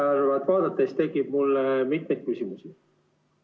Lisaeelarvet vaadates tekib mul mitmeid küsimusi.